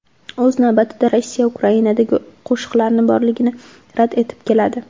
O‘z navbatida, Rossiya Ukrainada qo‘shinlari borligini rad etib keladi.